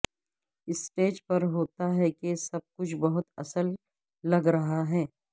stage پر ہوتا ہے کہ سب کچھ بہت اصل لگ رہا ہے